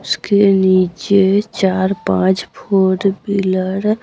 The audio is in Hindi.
उसके नीचे चार पांच फोर व्हीलर --